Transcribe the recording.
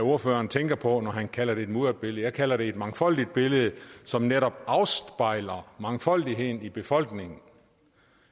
ordføreren tænker på når han kalder det et mudret billede jeg kalder det et mangfoldigt billede som netop afspejler mangfoldigheden i befolkningen